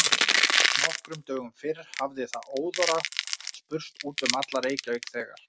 Nokkrum dögum fyrr hafði það óðara spurst út um alla Reykjavík, þegar